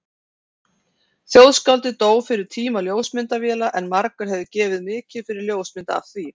Þjóðskáldið dó fyrir tíma ljósmyndavéla en margur hefði gefið mikið fyrir ljósmynd af því.